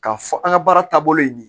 K'a fɔ an ka baara taabolo ye nin ye